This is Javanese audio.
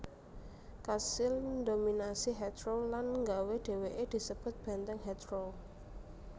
kasil ndominasi Heathrow lan nggawé déwéké disebut Benteng Heathrow